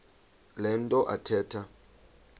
le nto athetha